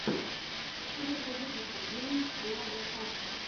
первый выпуск гейм уадафак